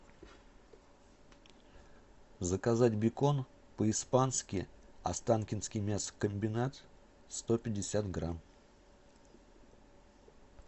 заказать бекон по испански останкинский мясокомбинат сто пятьдесят грамм